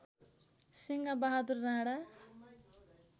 Singh Bahadur Rana